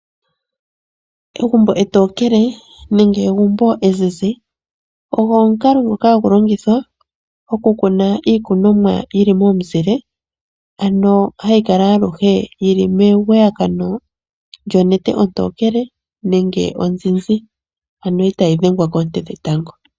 Egumbo etookele nenge egumbo ezizi ogo omukalo ngoka hagu longithwa oku kuna iikunomwa yili momuzile, ano hayi kala aluhe yili megwayagano lyomuzile gonete ontookele nenge onzizi itaayi dhengwa nande okoonte dhetango